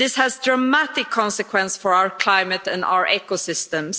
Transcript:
This has dramatic consequences for our climate and our ecosystems.